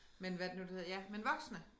Men hvad det nu det hedder ja men voksne